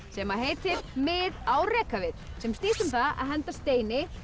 sem heitir mið á rekavið sem snýst um það að henda steini